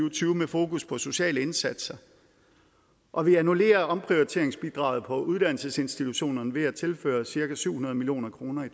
og tyve med fokus på sociale indsatser og vi annullerer omprioriteringsbidraget på uddannelsesinstitutionerne ved at tilføre cirka syv hundrede million kroner i